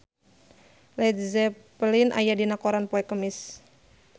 Led Zeppelin aya dina koran poe Kemis